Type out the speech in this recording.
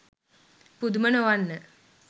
පුදුම නොවන්න